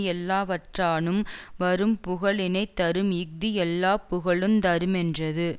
எல்லாவற்றானும் வரும் புகழினைத் தரும் இஃது எல்லா புகழுந் தருமென்றது